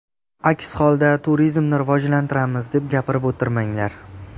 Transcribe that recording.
Aks holda turizmni rivojlantiramiz deb gapirib o‘tirmanglar.